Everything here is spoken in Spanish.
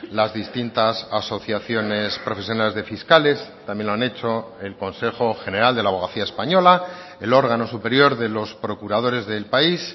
las distintas asociaciones profesionales de fiscales también lo han hecho el consejo general de la abogacía española el órgano superior de los procuradores del país